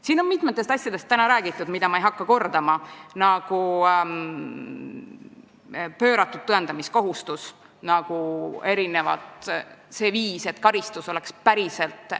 Siin on täna räägitud mitmest asjast, nagu pööratud tõendamiskohustus või see, et karistus peaks olema päriselt mõjukas.